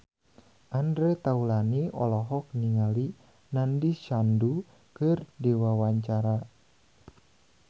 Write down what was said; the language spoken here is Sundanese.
Andre Taulany olohok ningali Nandish Sandhu keur diwawancara